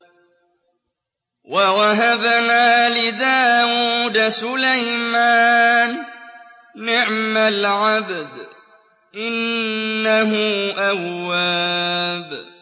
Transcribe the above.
وَوَهَبْنَا لِدَاوُودَ سُلَيْمَانَ ۚ نِعْمَ الْعَبْدُ ۖ إِنَّهُ أَوَّابٌ